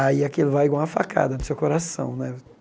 Aí aquilo vai igual uma facada no seu coração, né?